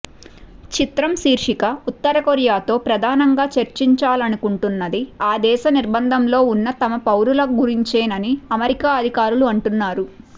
చిత్రం శీర్షిక ఉత్తరకొరియాతో ప్రధానంగా చర్చించాలనుకుంటున్నది ఆ దేశ నిర్బంధంలో ఉన్న తమ పౌరుల గురించేనని అమెరికా అధికారులు అంటున్నారు